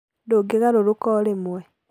Ndũgĩgarũrũka o remwĩ